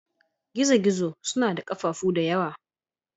Gizo-gizo suna da ƙafafu da yawa.